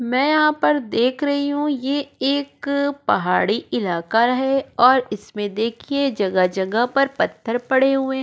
मैं यहाँ पर देख रही हूँ ये एक पहाड़ी इलाका है और इसमें देखिए जगह-जगह पर पत्थर पड़े हुए हैं।